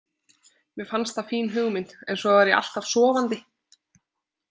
Mér fannst það fín hugmynd, en svo var ég alltaf sofandi.